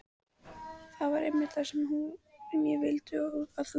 Það var einmitt það sem ég vildi að þú gerðir.